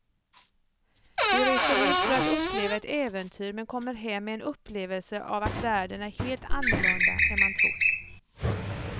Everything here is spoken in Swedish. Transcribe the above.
Du reser ut för att uppleva ett äventyr men kommer hem med en upplevelse av att världen är helt annorlunda än man trott.